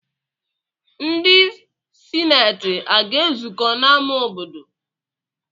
Ndị sineeti aga-ezukọ n'ámá obodo?